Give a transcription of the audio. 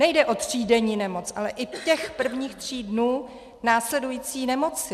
Nejde o třídenní nemoc, ale i těch prvních tří dnů následující nemoci.